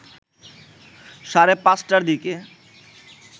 সাড়ে ৫ টার দিকে